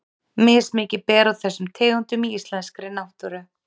Mismikið ber á þessum tegundum í íslenskri náttúru.